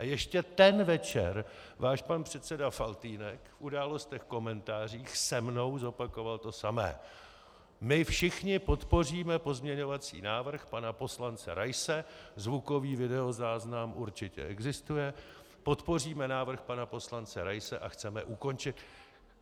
A ještě ten večer váš pan předseda Faltýnek v Událostech, komentářích se mnou zopakoval to samé: My všichni podpoříme pozměňovací návrh pana poslance Raise - zvukový videozáznam určitě existuje - podpoříme návrh pana poslance Raise a chceme ukončit...